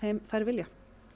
þær vilja